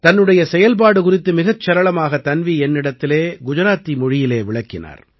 தன்னுடைய செயல்பாடு குறித்து மிகச் சரளமாக தன்வீ என்னிடம் குஜராத்தியிலே விளக்கினார்